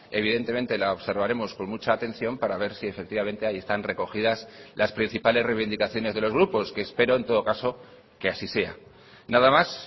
evidentemente la observaremos con mucha atención para ver si efectivamente ahí están recogidas las principales reivindicaciones de los grupos que espero en todo caso que así sea nada más